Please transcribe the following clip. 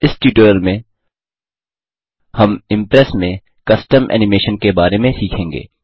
इस ट्यूटोरियल में हम इम्प्रेस में कस्टम एनिमेशन के बारे में सीखेंगे